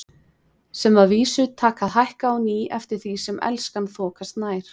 Sem að vísu taka að hækka á ný eftir því sem Elskan þokast nær.